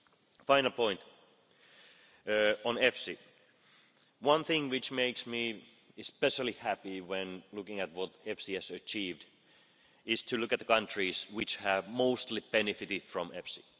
A final point, on EFSI one thing which makes me especially happy when looking at what EFSI has achieved is to look at the countries which have mostly benefited from EFSI.